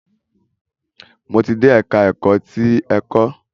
Mo ti dé ẹka ẹ̀kọ́ ti ẹ̀kọ́.